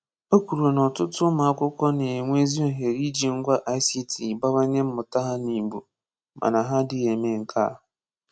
Ó kwùrù na ọ̀tụ̀tụ̀ ụmụ́akwụ́kwọ́ na-enwè ezi òhèrè íjì ngwá ICT bawányè mmụ̀tà ha n’Ìgbò, màná hà ádí̄ghị eme nke a.